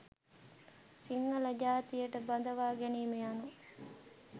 සිංහල ජාතියට බඳවා ගැනීම යනු